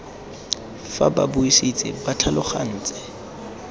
fa ba buisitse ba tlhalogantse